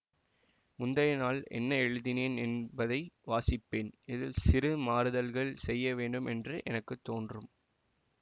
முந்திய நாள் என்ன எழுதினேன் என்பதை வாசிப்பேன் இதில் சிறு மாறுதல்கள் செய்யவேண்டும் என்று எனக்கு தோன்றும்